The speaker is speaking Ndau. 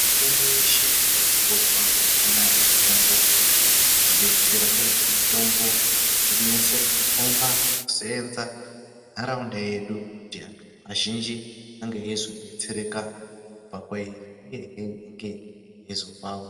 Mitombo yeshe iri kuhorwa mazuwa ano mitombo inotidetsera uye mitombo inonyaso kukomba kusevenza muntaraunda yedu kuti antu azhinji ange eizodetsereka kubva kwairi uyehe inge eizopawo.